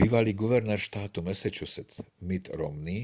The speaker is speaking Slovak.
bývalý guvernér štátu massachusetts mitt romney